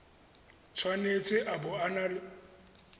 tshwanetse a bo a na